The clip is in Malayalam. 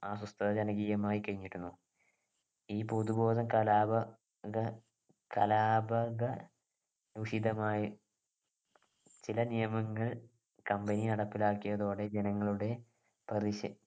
അസ്വസ്ഥത ജനകീയമായി കഴിഞ്ഞിരുന്നു ഈ പൊതുബോധം കലാപ ത കലാപക വിഹിതമായി ചില നിയമങ്ങൾ company നടപ്പിലാക്കിയ നടപ്പിലാക്കിയതോടെ ജനങ്ങളുടെ പ്രതിഷേ